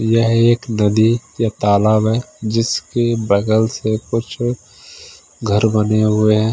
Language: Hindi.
यह एक नदी या तालाब है जिसके बगल से कुछ घर बने हुए हैं।